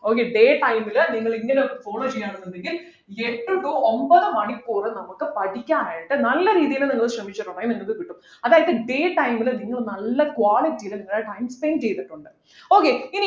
okay day time ൽ നിങ്ങൾ ഇങ്ങനെ follow ചെയ്യണെന്നുണ്ടെങ്കിൽ എട്ട് to ഒമ്പത് മണിക്കൂർ നമുക്ക് പഠിക്കാൻ ആയിട്ട് നല്ല രീതിയിൽ നിങ്ങൾ ശ്രമിച്ചിട്ടുണ്ടെങ്കിൽ നിങ്ങൾക്ക് കിട്ടും അതായതു day time ലു നിങ്ങൾ നല്ല quality ലു നിങ്ങളെ time spend ചെയ്തിട്ടുണ്ട് okay